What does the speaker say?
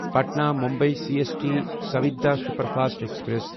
Patna Mumbai C S T Suvidha superfast express